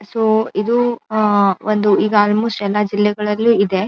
So ಇದು uh ಒಂದು ಈಗ ಆಲ್ ಮೋಸ್ಟ ಎಲ್ಲಾ ಜಿಲ್ಲೆಗಳಲ್ಲು ಇದೆ.